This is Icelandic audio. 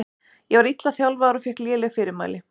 Ég var illa þjálfaður og fékk léleg fyrirmæli.